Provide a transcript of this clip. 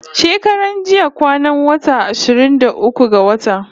Shekaran jiya kwanan wata ashirin da uku ga wata